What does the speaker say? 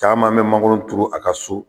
Caman be mangoro turu a ka so